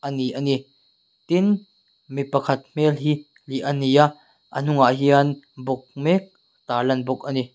ani ani tin mi pakhat hmel hi hliah ania a hnungah hian bawk mek tarlan bawk ani.